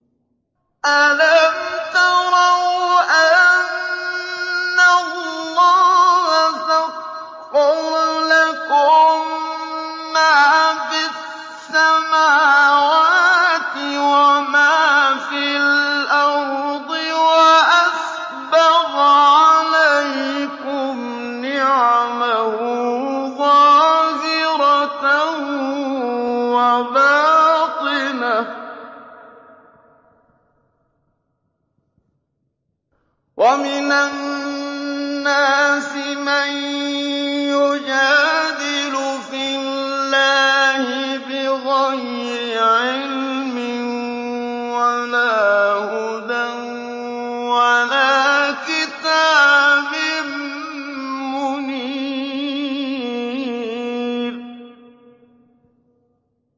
أَلَمْ تَرَوْا أَنَّ اللَّهَ سَخَّرَ لَكُم مَّا فِي السَّمَاوَاتِ وَمَا فِي الْأَرْضِ وَأَسْبَغَ عَلَيْكُمْ نِعَمَهُ ظَاهِرَةً وَبَاطِنَةً ۗ وَمِنَ النَّاسِ مَن يُجَادِلُ فِي اللَّهِ بِغَيْرِ عِلْمٍ وَلَا هُدًى وَلَا كِتَابٍ مُّنِيرٍ